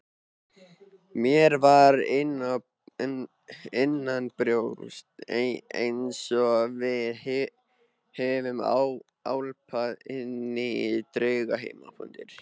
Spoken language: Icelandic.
Mér var innanbrjósts einsog við hefðum álpast inní draugheima.